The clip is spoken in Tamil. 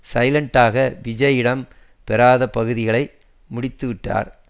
சைலண்டாக விஜய் இடம் பெறாத பகுதிகளை முடித்துவிட்டார்